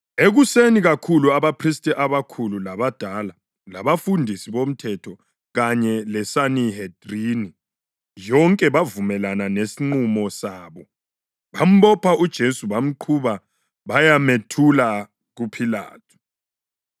Ekuseni kakhulu abaphristi abakhulu, labadala, labafundisi bomthetho kanye leSanihedrini yonke bavumelana ngesinqumo sabo. Bambopha uJesu bamqhuba bayamethula kuPhilathu.